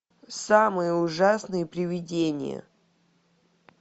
самые ужасные привидения